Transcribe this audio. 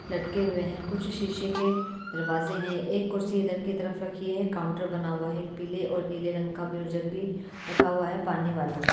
लटके हुए हैं कुछ शीशे के दरवाज़े हैं एक कुर्सी इधर की तरफ रखी है काउंटर बना हुआ है एक पीले और नीले रंग का म्यूजिक भी रखा हुआ है पानी वाला।